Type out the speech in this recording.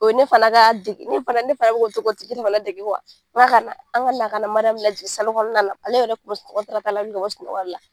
O ne fana ka dege ne fana ne fana bi ka to k'o tigi fana dege n k'a ka na an ka na MARIYAMU lajigin kɔnɔna la ale yɛrɛ kun wili ka bɔ sunɔgɔ la .